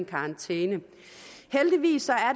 karantæne heldigvis